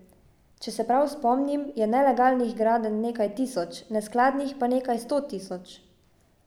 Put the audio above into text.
Če se prav spomnim, je nelegalnih gradenj nekaj tisoč, neskladnih pa nekaj sto tisoč.